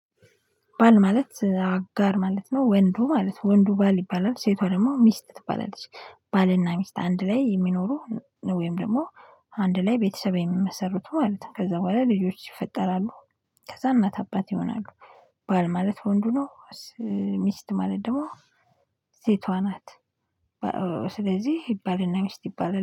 ባል ማለት አጋር ማለት ነው ወንዱ ማለት ወንዱ ባል ይባላል ሴቷ ደግሞ ሚስት ትባላለች። ባልና ሚስት አንድ ላይ የሚኖሩ ወይም ደግሞ አንድ ላይ ቤተሰብ የሚመሰርቱ ማለት ነው ከዛ በኋላ ልጆች ይፈጠራሉ። ከዛ እናት አባት ይሆናሉ። ባል ማለት ወንዱ ነው። ሚስት ማለት ደግሞ ሴቷ ናት። ስለዚህ ባልና ሚስት ይባላል